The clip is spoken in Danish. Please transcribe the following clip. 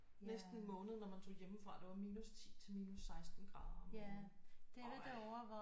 Næsten en måned når man tog hjemmefra det var minus 10 til minus 16 grader om morgenen øj